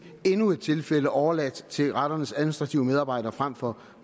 endnu et tilfælde bliver overladt til retternes administrative medarbejdere frem for